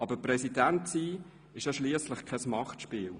Aber Präsident zu sein ist ja schliesslich kein Machtspiel.